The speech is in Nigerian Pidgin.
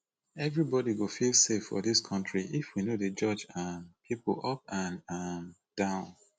everybody go feel safe for dis country if we no dey judge um pipo up and um down